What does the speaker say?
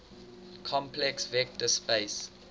complex vector space